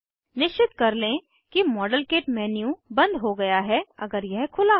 निश्चित कर लें कि मॉडलकिट मेन्यू बंद हो गया है अगर यह खुला हो